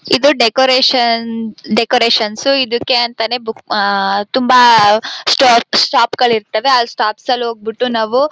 ಇದು decoration decorations ಇದಕ್ಕೆ ಅಂತಾನೆ ಬುಕ್ ಆ ತುಂಬಾ ಸ್ಟಾ ಸ್ಟಾಪ್ ಗಳಿರ್ತಾವೆ ಆ ಸ್ಟಾಪ್ ಗಳಿಗೆ ಹೋಗ್ಬಿಟ್ಟು ನಾವು.--